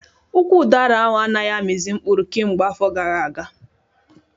Ụkwụ udara ahụ anaghị amizi mkpụrụ kemgbe afọ gara aga